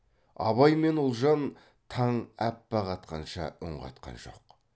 абай мен ұлжан таң аппақ атқанша үн қатқан жоқ